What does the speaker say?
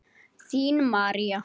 Þín María.